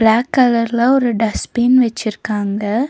Block கலர்ல ஒரு dustbin வெச்சிருக்காங்க.